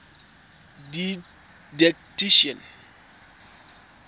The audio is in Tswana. didactician